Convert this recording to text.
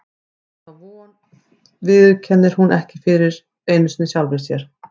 En þá von viðurkennir hún ekki einu sinni fyrir sjálfri sér.